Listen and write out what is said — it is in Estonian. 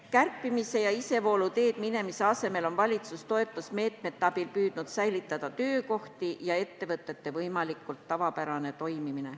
Kärpimise ja isevoolu teed minemise asemel on valitsus toetusmeetmete abil püüdnud säilitada töökohti ja ettevõtete võimalikult tavapärast toimimist.